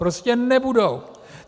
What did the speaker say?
Prostě nebudou!